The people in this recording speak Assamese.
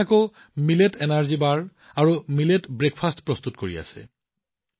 কিছুমান আছে যিয়ে মিলেট এনাৰ্জী বাৰ আৰু মিলেট ব্ৰেকফাষ্ট প্ৰস্তুত কৰি আছে